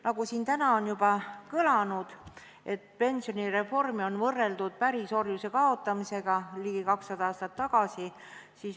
Nagu siin täna on juba kõlanud, pensionireformi on võrreldud pärisorjuse kaotamisega ligi 200 aastat tagasi.